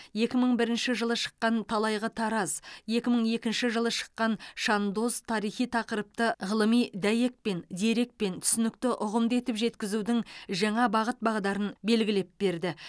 екі мың бірінші жылы шыққан талайғы тараз екі мың екінші жылы шыққан шандоз тарихи тақырыпты ғылыми дәйекпен дерекпен түсінікті ұғымды етіп жеткізудің жаңа бағыт бағдарын белгілеп берді